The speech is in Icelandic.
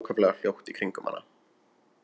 Það er allt ákaflega hljótt í kringum hana.